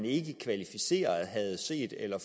ikke kvalificeret havde set eller